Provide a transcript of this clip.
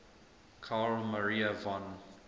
carl maria von